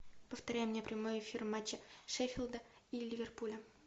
повторяй мне прямой эфир матча шеффилда и ливерпуля